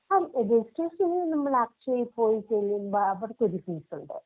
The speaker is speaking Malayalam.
ആഹ് രെജിസ്ട്രേഷൻ നമ്മളക്ഷയീ പോയിട്ട് അവിടുത്തെ ഒരു ഫീസുണ്ട്.